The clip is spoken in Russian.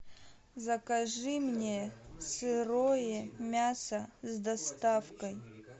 закажи мне сырое мясо с доставкой